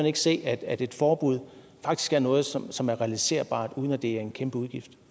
ikke se at at et forbud faktisk er noget som som er realiserbart uden at det er en kæmpe udgift